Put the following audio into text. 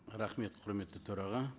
рахмет құрметті төраға